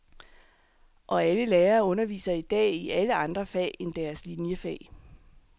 Og alle lærere underviser i dag i alle andre fag end deres liniefag.